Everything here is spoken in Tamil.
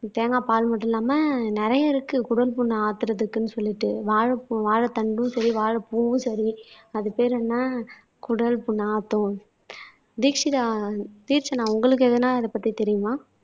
தேங்காய் பால் மட்டும் இல்லாமல் நிறைய இருக்கு குடல் புண்ணை ஆத்துறதுக்குன்னு சொல்லிட்டு வாழைப்பூ வாழைத்தண்டும் சரி வாழைப்பூவும் சரி அது பேரு என்ன குடல் புண் ஆத்தூம். தீக்ஷிதா திக்ஷ்ஷனா உங்களுக்கு எதுண்ணா அதைப்பத்தி தெரியுமா